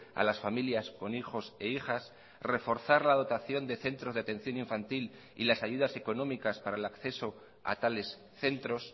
a las familias con hijos e hijas reforzar la dotación de centros de atención infantil y las ayudas económicas para el acceso a tales centros